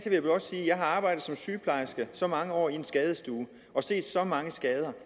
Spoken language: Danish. jeg har arbejdet som sygeplejerske i så mange år på en skadestue og set så mange skader